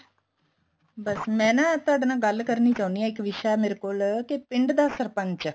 ਬੱਸ ਮੈਂ ਨਾ ਤੁਹਾਡੇ ਨਾਲ ਗੱਲ ਕਰਨੀ ਚਾਹੁੰਣੀ ਹਾਂ ਇੱਕ ਵਿਸ਼ਾ ਹੈ ਮੇਰੇ ਕੋਲ ਕੀ ਪਿੰਡ ਦਾ ਸਰਪੰਚ